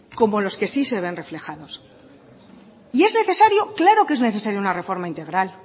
como los que sí se ven reflejados es necesario claro que es necesaria una reforma integral